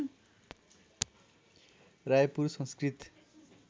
Raipur Sanskrit